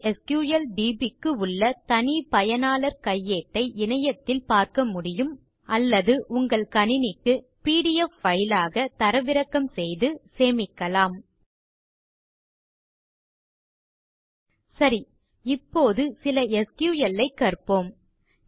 எச்எஸ்கிள்டிபி க்கு உள்ள தனி பயனாளர் கையேட்டை இணையத்தில் பார்க்க முடியும் அல்லது உங்கள் கணினிக்கு பிடிஎஃப் பைல் ஆக தரவிறக்கம் செய்து சேமிக்கலாம் சரி இப்போது சில எஸ்கியூஎல் ஐ கற்போம்